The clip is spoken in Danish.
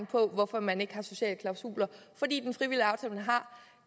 på hvorfor man ikke har sociale klausuler fordi